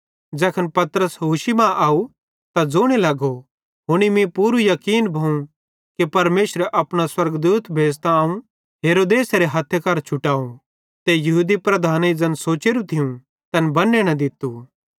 तैखन पतरस होशी मां आव ते ज़ोने लगो हुनी मीं पूरू याकीन भोवं कि परमेशरे अपनो स्वर्गदूत भेज़तां अवं हेरोदेसेरे हथ्थे मरां छुटाव ते यहूदी लीडरेईं ज़ैन सोचेरू थियूं तैन बन्ने न दित्तू